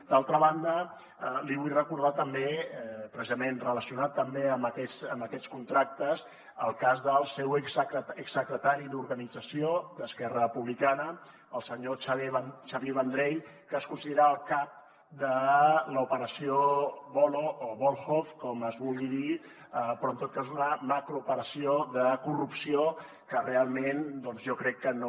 d’altra banda li vull recordar també precisament relacionat també amb aquests contractes el cas del seu exsecretari d’organització d’esquerra republicana el senyor xavier vendrell que es considera el cap de l’operació voloh o volhov com es vulgui dir però en tot cas una macrooperació de corrupció que realment doncs jo crec que no